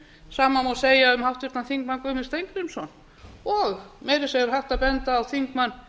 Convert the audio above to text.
sama má segja um háttvirtan þingmann guðmund steingrímsson og meira að segja er hægt að benda á þingmann